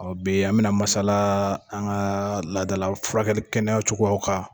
Ɔn bi an be na masala an ka laadala furakɛli kɛnɛ cogoyaw kan.